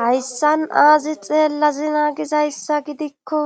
hayssan aazi xeellazina gizayssa gidikko